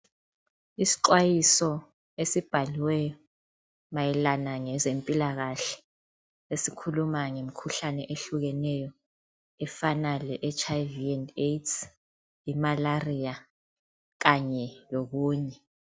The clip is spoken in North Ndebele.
Isixwayiso esibhaliweyo mayelana ngezempilakahle, esikhuluma ngemikhuhlane ehlukeneyo efana leHIV and AIDS, imalaria kanye lokunye.